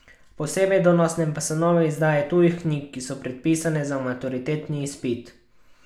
Posebej donosne pa so nove izdaje tujih knjig, ki so predpisane za maturitetni izpit.